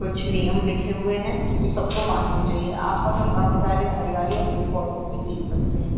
कुछ नियम लिखे हुए हैं जो सबको मानने चाहिए आस-पास हम काफी सारे हरियाली और पेड़-पौधों को भी देख सकते हैं।